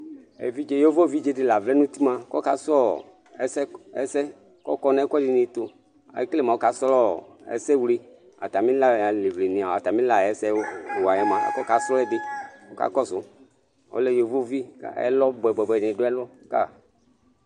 Yovovidze dɩ la vlɛ nʊtɩ mʊa kɔka sʊ ɛsɛ, kɔkɔ nɛkʊɛdɩnɩtʊ Ekele mɔka srɔ esewle atamɩ la ayɛsɛ wa mʊa akɔka srɔ edɩ kɔka kɔs Ɔlɛ yovovɩ kɛlɔ bʊɛ bʊɛ nɩ ɗʊ ɛlʊ kaƴɩ